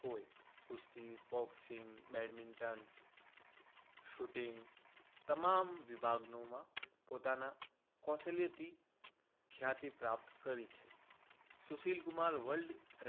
હોય કુસ્તી, boxing, badminton, shooting તમામ વિભાગોમાં પોતાના કૌશલ્યથી ખ્યાતિ પ્રાપ્ત કરે છે. સુશીલ કુમાર વર્લ્ડ